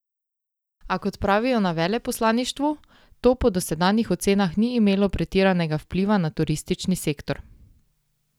A, kot pravijo na veleposlaništvu, to po dosedanjih ocenah ni imelo pretiranega vpliva na turistični sektor.